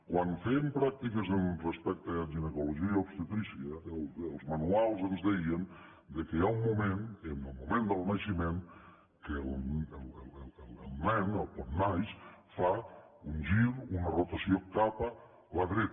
quan fèiem pràctiques respecte a ginecologia i obstetrícia els manuals ens deien que hi ha un moment en el moment del naixement en què el nen quan naix fa un gir una rotació cap a la dreta